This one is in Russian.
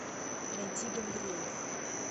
найти гангрейв